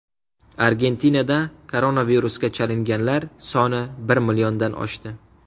Argentinada koronavirusga chalinganlar soni bir milliondan oshdi.